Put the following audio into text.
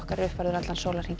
er uppfærður allan sólarhringinn